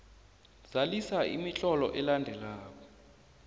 zalisa imitlolo elandelako